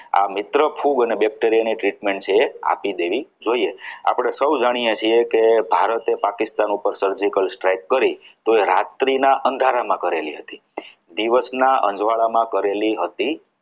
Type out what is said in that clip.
આ મિત્ર ખૂબ અને bacteria ને ચૂંટણી છે એ આપી દેવી જોઈએ આપણી સૌ જાણીએ છીએ કે ભારતે પાકિસ્તાન ઉપર surgical strike કરી તો એ રાત્રિના અંધારા ના અંધારામાં કરેલી હતી દિવસના અજવાળામાં કરેલી હતી નહીં.